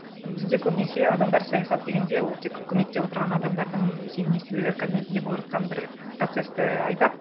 бізде көбінесе адамдар саясат дегенде ол тек көмекте отырған адамдардың немесе министрлер кабинетінде болып жатқан бір процессті айтады